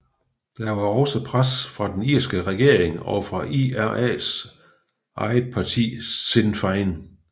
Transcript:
Der var også pres fra den irske regering og fra IRAs eget parti Sinn Féin